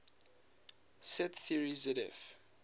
set theory zf